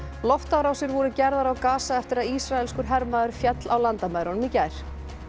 loftárásir voru gerðar á eftir að ísraelskur hermaður féll á landamærunum í gær